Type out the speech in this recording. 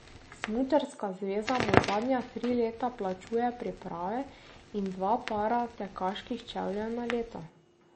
Smučarska zveza mu zadnja tri leta plačuje priprave in dva para tekaških čevljev na leto.